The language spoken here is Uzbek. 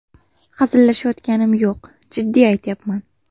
Hazillashayotganim yo‘q, jiddiy aytyapman.